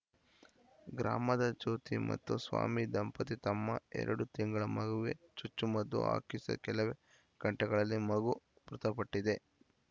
ಗ್ರಾಮದ ಜ್ಯೋತಿ ಮತ್ತು ಸ್ವಾಮಿ ದಂಪತಿ ತಮ್ಮ ಎರಡು ತಿಂಗಳ ಮಗುವೆ ಚುಚ್ಚುಮದ್ದು ಹಾಕಿಸೆ ಕೆಲವೇ ಗಂಟೆಗಳಲ್ಲಿ ಮಗು ಮೃತಪಟ್ಟಿದೆ